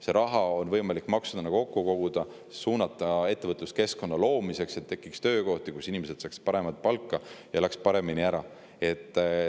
See raha on võimalik maksudena kokku koguda ja suunata ettevõtluskeskkonna loomiseks, et tekiks töökohti, nii et inimesed saaksid paremat palka ja elaks paremini ära.